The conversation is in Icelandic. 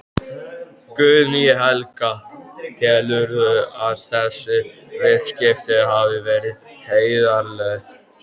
Guðný Helga: Telurðu að þessi viðskipti hafi verið heiðarleg?